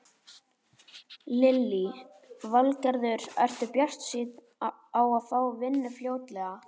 Lillý Valgerður: Ertu bjartsýnn á að fá vinnu fljótlega?